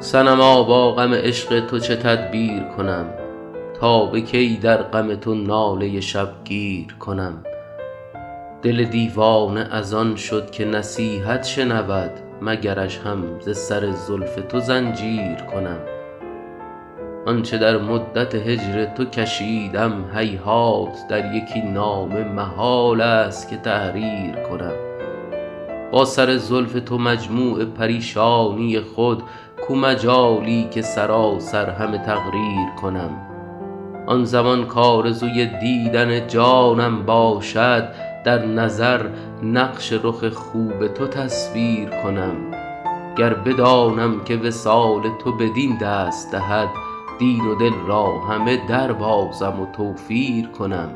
صنما با غم عشق تو چه تدبیر کنم تا به کی در غم تو ناله شبگیر کنم دل دیوانه از آن شد که نصیحت شنود مگرش هم ز سر زلف تو زنجیر کنم آن چه در مدت هجر تو کشیدم هیهات در یکی نامه محال است که تحریر کنم با سر زلف تو مجموع پریشانی خود کو مجالی که سراسر همه تقریر کنم آن زمان کآرزوی دیدن جانم باشد در نظر نقش رخ خوب تو تصویر کنم گر بدانم که وصال تو بدین دست دهد دین و دل را همه دربازم و توفیر کنم